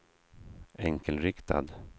enkelriktad